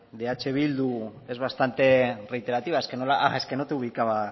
de eh bildu es bastante reiterativa es que no te ubicaba